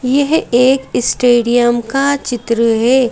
यह एक स्टेडियम का चित्र है।